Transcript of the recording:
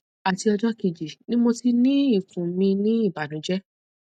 ati ọjọ keji ni mo ti ni ikun mi ni ibanujẹ